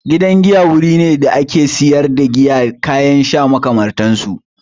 Gidan giya wuri ne da ake sayar da giya da kayan sha makamantar su.